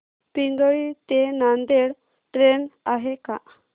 पिंगळी ते नांदेड ट्रेन आहे का